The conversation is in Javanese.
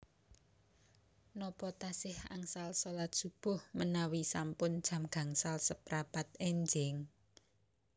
Nopo tasih angsal solat subuh menawi sampun jam gangsal seprapat enjing?